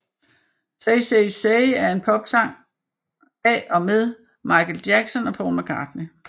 Say Say Say er en popsang af og med Michael Jackson og Paul McCartney